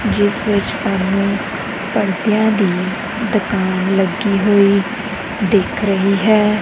ਜਿਸ ਵਿੱਚ ਸਾਹਮਣੇ ਪੜਦਿਆਂ ਦੀ ਦੁਕਾਨ ਲੱਗੀ ਹੋਈ ਦੇਖ ਰਹੀ ਹੈ।